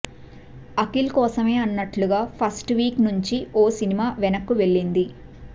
అఖిల్ కోసమే అన్నట్లుగా first week నుంచి ఓ సిన్మా వెనక్కు వెళ్ళింది